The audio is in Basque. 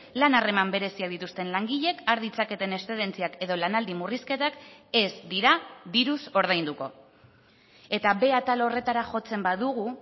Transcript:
lan harreman bereziak dituzten langileek har ditzaketen eszedentziak edo lanaldi murrizketak ez dira diruz ordainduko eta b atal horretara jotzen badugu